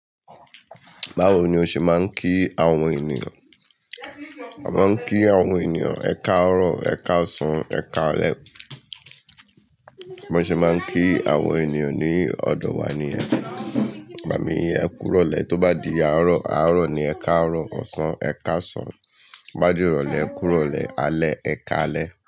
Báwo ni o ṣe máa ń kí àwọn ènìyàn? A máa ń kí àwọn ènìyàn, "ẹ káàárọ̀", "ẹ káàsán", "ẹ káalẹ́". Bí wọ́n ṣe máa ń kí àwọn ènìyàn ní ọ̀dọ̀ wa ni yẹn, igbà mí ẹ kú irọlẹ, tó bá di àárọ̀, àárọ̀ ni ẹ káàárọ̀, ọ̀sán ẹ káàsán, gbá di ìrọ̀lẹ́ ẹ kú irọ̀lẹ, alẹ́ ẹ káalẹ́